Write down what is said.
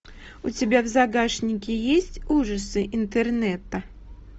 у тебя в загашнике есть ужасы интернета